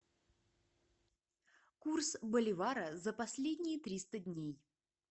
курс боливара за последние триста дней